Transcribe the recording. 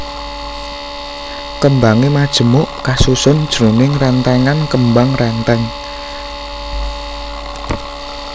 Kembangé majemuk kasusun jroning rèntèngan kembang rèntèng